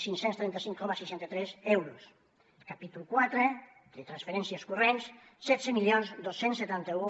cinc cents i trenta cinc coma seixanta tres euros el capítol quatre de transferències corrents setze mil dos cents i setanta un